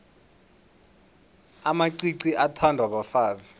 amacici athandwa bafazi